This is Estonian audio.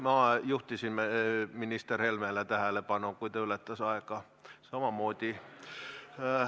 Ma juhtisin minister Helme tähelepanu sellele, et ta aega ületas, samamoodi.